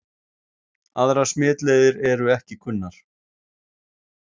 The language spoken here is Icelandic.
Aðrar smitleiðir eru ekki kunnar.